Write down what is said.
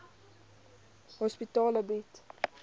psigiatriese hospitale bied